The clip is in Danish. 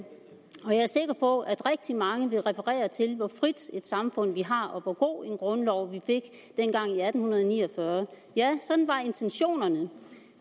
og på at rigtig mange vil referere til hvor frit et samfund vi har og hvor god en grundlov vi fik dengang i atten ni og fyrre ja sådan var intentionerne